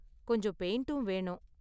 கொஞ்சம் பெயிண்ட்டும் வேணும்